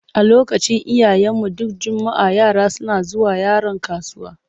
A lokacin iyayenmu, duk juma'a yara suna zuwa Yaron kasuwa.